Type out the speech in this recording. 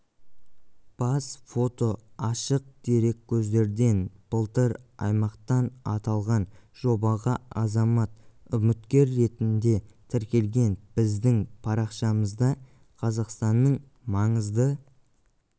бас фото ашық дереккөздерден былтыр аймақтан аталған жобаға азамат үміткер ретінде тіркелген біздің парақшамызда қазақстанның маңызды